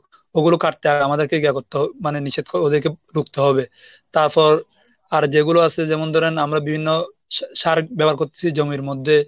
ওগুলো কাটতে হয় আমাদেরকে ইয়ে করতে হবে, মানে নিষেধ ওদেরকে রুখতে হবে তারপর আর যেগুলো আছে যেমন ধরেন আমরা বিভিন্ন সা~ সার ব্যবহার করতেছি জমির মধ্যে